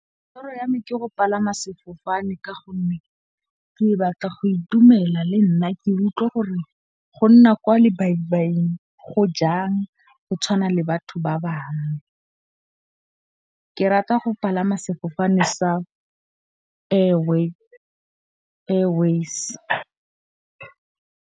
Toro ya me ke go palama sefofane. Ka gonne ke batla go itumela le nna ke utlwe gore go nna kwa le go jang go tshwana le batho ba bangwe. Ke rata go palama sefofane sa Airways.